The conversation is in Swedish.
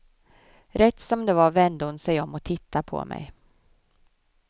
Rätt som det var vände hon sig om och tittade på mig.